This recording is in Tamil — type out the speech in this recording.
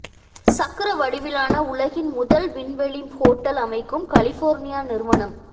சக்கர வடிவிலான உலகின் முதல் விண்வெளி ஹோட்டல் அமைக்கும் கலிபோர்னியா நிறுவனம்